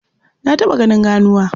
Na taɓa ganin ganuwa.